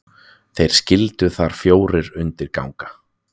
þeir skyldu þar fjórir undir ganga